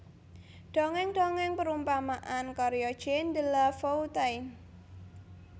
Dongeng Dongeng Perumpamaan karya Jean De La Foutaine